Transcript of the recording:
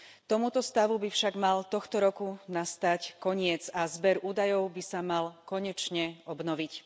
Tomuto stavu by však mal tohto roku nastať koniec a zber údajov by sa mal konečne obnoviť.